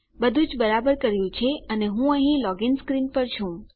બધુજ બરાબર કર્યું છે અને હું અહીં લોગીન સ્ક્રીન પર છું